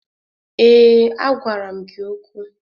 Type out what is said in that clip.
Ee, a gwara m gị okwu.